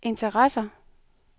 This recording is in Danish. interesserer